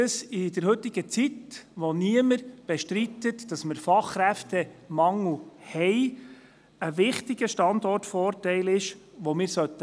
In der heutigen Zeit, in der niemand den Fachkräftemangel bestreitet, ist dies ein wichtiger Standortvorteil, den wir pflegen sollten.